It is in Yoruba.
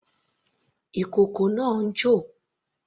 Ìkókó náà ń jò.